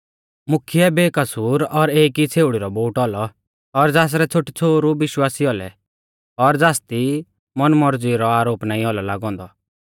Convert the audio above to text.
मुख्यै बेकसूर और एक ई छ़ेउड़ी रौ बोउटौ औलौ और ज़ासरै छ़ोटीछ़ोहरु विश्वासी औलौ और ज़ासदी मौनमौरज़ी रौ आरोप नाईं औलौ लागौ औन्दौ